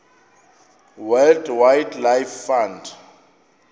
world wildlife fund